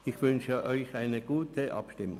Ich wünsche Ihnen eine gute Abstimmung.